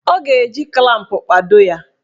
Ọ ga-eji klamp kpado ya.